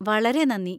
വളരെ നന്ദി!